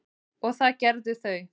og það gerðu þau.